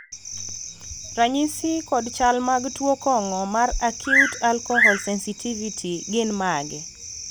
ranyisi kod chal mag tuo kong'o mar acute alcohol sensitivity gin mage?